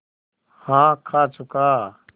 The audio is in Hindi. हाँ खा चुका